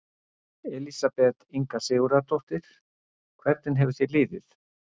Elísabet Inga Sigurðardóttir: Hvernig hefur þér liðið?